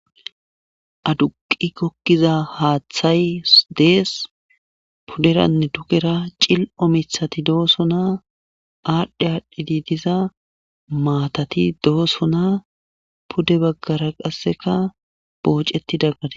aduqi gokkiza haaththay dees puderanne tukera cil7o mithati dooso naa aadhdhe aadhdhidi diza maatati dooso naa pude baggara qasseka booceti daggade